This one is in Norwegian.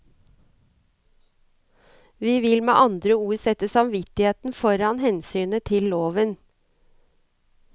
De vil med andre ord sette samvittigheten foran hensynet til loven.